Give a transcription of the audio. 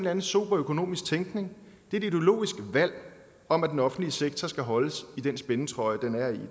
anden sober økonomisk tænkning det er et ideologisk valg om at den offentlige sektor skal holdes i den spændetrøje den er i